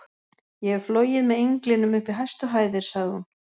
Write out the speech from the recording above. Ég hef flogið með englinum upp í hæstu hæðir sagði hún.